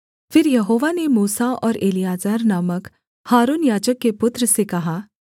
फिर यहोवा ने मूसा और एलीआजर नामक हारून याजक के पुत्र से कहा